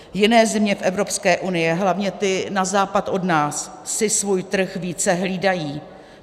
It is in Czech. Jiné země v Evropské unii, hlavně ty na západ od nás, si svůj trh více hlídají.